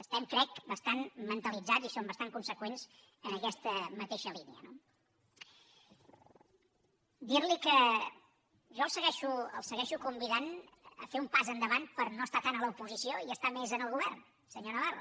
estem crec bastant mentalitzats i som bastant conseqüents en aquesta mateixa línia no dir li que jo el segueixo convidant a fer un pas endavant per no estar tant a l’oposició i estar més en el govern senyor navarro